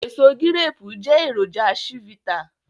Èso gíréépù jẹ́ èròjà chivita